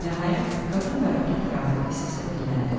Nəhayət, qadın bayaqkı təravətli səslə dilləndi.